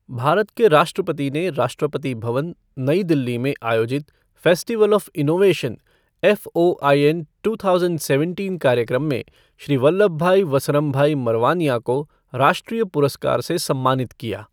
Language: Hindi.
भारत के राष्ट्रपति ने राष्ट्रपति भवन, नई दिल्ली में आयोजित festival of innovation FOIN two thousand seventeen कार्यक्रम में श्री वल्लभभाई वसरमभाई मरवानिया को राष्ट्रीय पुरस्कार से सम्मानित किया।